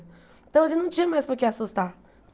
Então a gente não tinha mais por que assustar.